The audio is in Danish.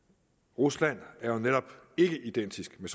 rusland er jo netop ikke identisk med